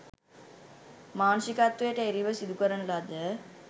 මානුෂිකත්වයට එරෙහිව සිදුකරන ලද